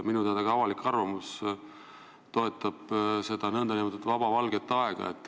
Minu teada avalik arvamus toetab nn pikemat valget aega.